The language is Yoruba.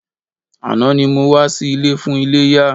Àná ni mo wá sí ilé fún iléyá.